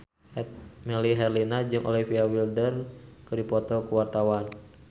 Melly Herlina jeung Olivia Wilde keur dipoto ku wartawan